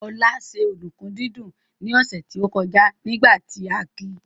Olá ṣe ọ̀dùnkún dídún ní ọ̀sẹ̀ tó kọjá nígbà tí a ki